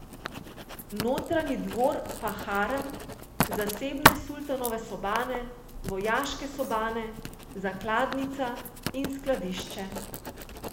Notranji dvor pa harem, zasebne sultanove sobane, vojaške sobane, zakladnica in skladišče.